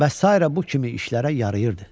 Və sairə bu kimi işlərə yarayırdı.